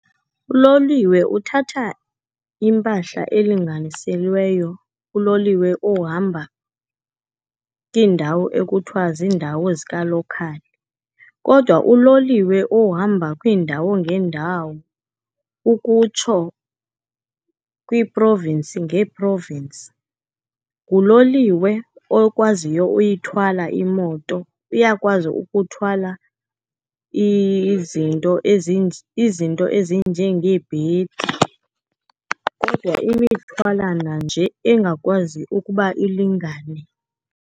Uloliwe uthatha impahla elinganiselweyo kuloliwe ohamba kiindawo ekuthiwa ziindawo zika-local, kodwa uloliwe ohamba kwiindawo ngeendawo ukutsho kwiiprovinsi ngeeprovinsi nguloliwe okwaziyo uyithwala imoto. Uyakwazi ukuthwala izinto ezinjengeebhedi, kodwa imithwalana nje engakwazi ukuba ilingane.